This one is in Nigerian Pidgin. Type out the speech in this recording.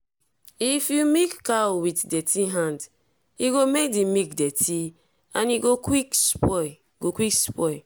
if you milk cow with dirty hand e go make the milk dirty and e go quick spoil. go quick spoil.